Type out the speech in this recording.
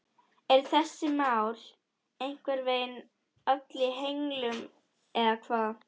Eru þessi mál einhvern veginn öll í henglum eða hvað?